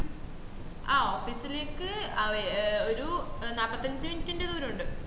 ആഹ് office ലേക്ക് ഒരു നാപ്പത്തഞ്ച് minute ദൂരം ഉണ്ട്